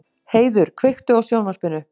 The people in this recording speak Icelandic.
Heiður, kveiktu á sjónvarpinu.